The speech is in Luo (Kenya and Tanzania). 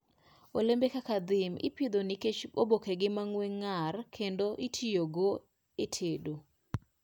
Olembe kaka thyme ipidho nikech obokegi mang'we ng'ar kendo itiyo kodgi e tedo.